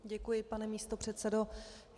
Děkuji, pane místopředsedo.